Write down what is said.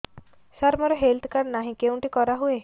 ସାର ମୋର health card ନାହିଁ କେଉଁଠି କରା ହୁଏ